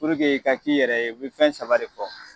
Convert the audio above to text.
i ka k'i yɛrɛ ye, u bɛ fɛn saba de fɔ.